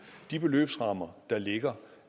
de beløbsrammer der ligger